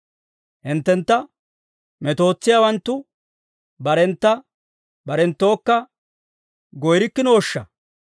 Hinttentta metootsiyaawanttu barentta barenttookka goyreerikkinooshsha!